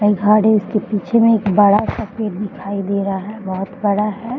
और घर है इसके पीछे में एक बड़ा सा पेड़ दिखाई दे रहा है बहुत बड़ा है।